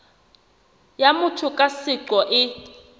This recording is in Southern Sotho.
ya motho ka seqo e